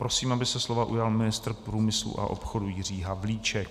Prosím, aby se slova ujal ministr průmyslu a obchodu Jiří Havlíček.